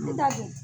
I dalen